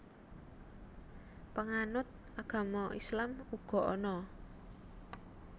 Panganut agama Islam uga ana